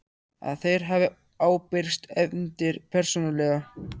að þeir hafi ábyrgst efndir persónulega.